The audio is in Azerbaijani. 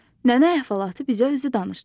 Nənə əhvalatı bizə özü danışdı.